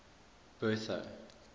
bertha